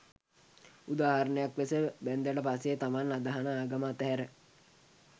උදාහරණයක් ලෙස බැන්දට පස්සේ තමන් අදහන ආගම අතහැර